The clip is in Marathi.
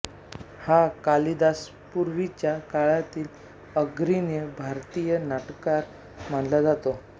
हा कालिदासापूर्वीच्या काळातील अग्रणी भारतीय नाटककार मानला जातो